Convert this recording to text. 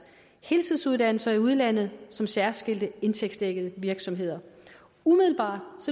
heltidsuddannelser i udlandet som særskilte indtægtsdækkede virksomheder umiddelbart